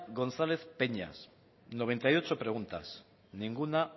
gonzález peñas noventa y ocho preguntas ninguna